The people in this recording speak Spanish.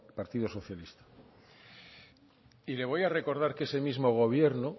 partido socialista y le voy a recordar que ese mismo gobierno